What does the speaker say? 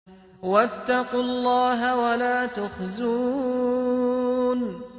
وَاتَّقُوا اللَّهَ وَلَا تُخْزُونِ